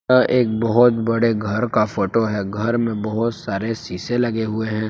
यह एक बहुत बड़े घर का फोटो है घर में बहुत सारे शीशे लगे हुए हैं।